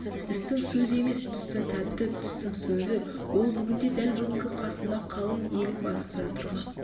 істің сөзі емес түстің тәтті түстің сөзі ол бүгінде дәл бүгінгі қасында қалың елің басында тұрған